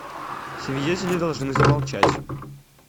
свидетели должны замолчать